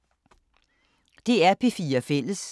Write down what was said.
DR P4 Fælles